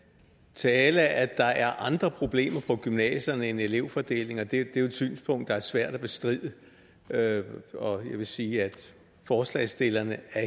tale at der er andre problemer på gymnasierne end elevfordelingen det er jo et synspunkt det er svært at bestride og jeg vil sige at forslagsstillerne